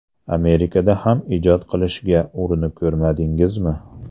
Amerikada ham ijod qilishga urinib ko‘rmadingizmi?